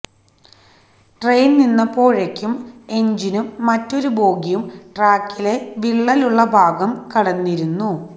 train നിന്നപ്പോഴേക്കും എന്ജിനും മറ്റൊരു ബോഗിയും ട്രാക്കിലെ വിള്ളലുള്ള ഭാഗം കടന്നിരുന്നു